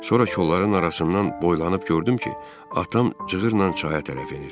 Sonra kolların arasından boylanıb gördüm ki, atam cığırla çaya tərəf enir.